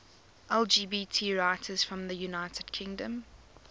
lgbt writers from the united kingdom